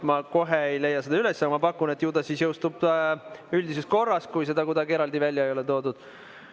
Ma kohe ei leia seda üles, aga ma pakun, et ju ta siis jõustub üldises korras, kui seda kuidagi eraldi välja ei ole toodud.